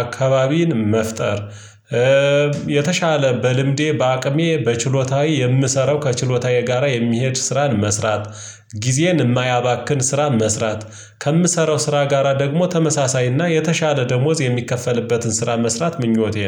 አካባቢን መፍጠር የተሻለ በልምዴ በአቅሜ በችሎታዬ የምሰራው ከችሎታዊ ጋራ የሚሄድ ስራን መስራት። ጊዜን የማያባክን ስራ መስራት ከምሰራው ስራ ጋራ ደግሞ ተመሳሳይና የተሻለ ደሞዝ የሚከፈልበትን ስራ መስራት ምኞቴ ነው